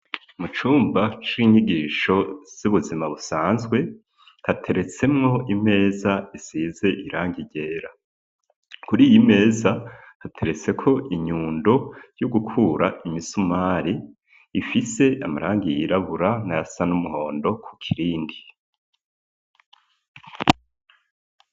Mu cumba c'inyigisho z'ubuzima busanzwe hateretsemwo imeza isize irangi ryera kuri iyi imeza hateretseko inyundo yo gukura imisumari ifise amarangi yirabura n'ayasa n'umuhondo ku kirindi.